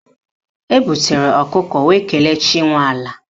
Ebutere ọkụkọ wee kelee chi nwe ala